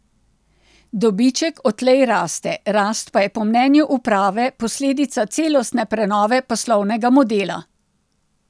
Dobiček odtlej raste, rast pa je po mnenju uprave posledica celostne prenove poslovnega modela.